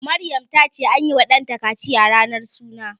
Maryam ta ce anyi wa ɗanta kaciya ranar suna